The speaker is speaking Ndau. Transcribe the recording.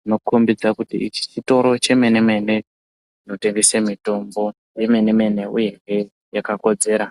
dzinokombidza kuti ichi chitoro chemene-mene chinotengese mitombo yemene-mene uyehe yakakodzera.